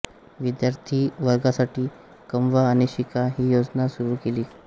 विद्यार्थिवर्गासाठी कमवा आणि शिका ही योजना सुरू केली